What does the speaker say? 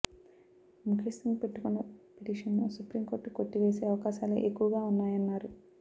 ముకేష్ సింగ్ పెట్టుకున్న పిటిషన్ను supreme court కొట్టివేసే అవకాశాలే ఎక్కువగా ఉన్నాయన్నారు